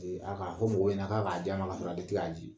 E a k'a fɔ mɔgɔw ɲɛna k'a k'a dila a ma kasɔrɔ ale tɛ k'a di